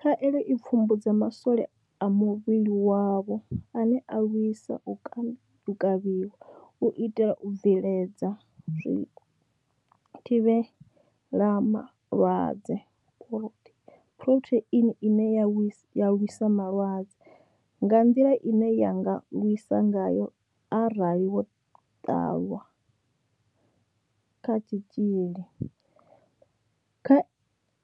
Khaelo i pfumbudza ma swole a muvhili wavho ane a lwisa u kavhiwa, u itela u bveledza zwithivhela malwadze phurotheini ine ya lwisa malwadze nga nḓila ine ya nga lwisa ngayo arali vho ṱanwa kha tshitzhili. Kha